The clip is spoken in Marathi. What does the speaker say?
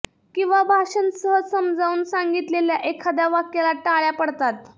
किंवा भाषण सहज समजावून सांगितलेल्या एखाद्या वाक्याला टाळ्या पडतात